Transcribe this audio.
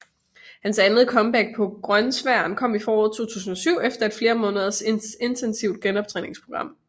Hans andet comeback på grønsværen kom i foråret 2007 efter et flere måneders intensivt genoptræningsprogram